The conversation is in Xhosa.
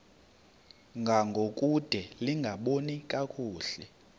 ngangokude lingaboni kakuhle